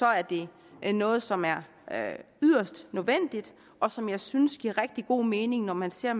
er det noget som er er yderst nødvendigt og som jeg synes giver rigtig god mening når man ser